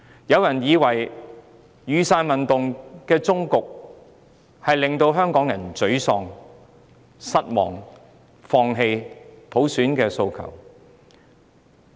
有人以為雨傘運動的終結，會令香港人感到沮喪、失望，放棄他們的普選訴求。